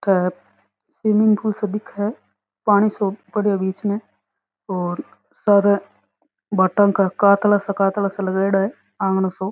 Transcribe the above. का swimming pool सो दिखे पानी सो पड़िया बीच में और सारे भाटा का कातला सा कातला सा लगाईड़ा है आँगन सो।